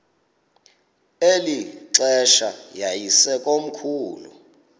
eli xesha yayisekomkhulu